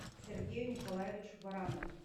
сергею николаевичу баранову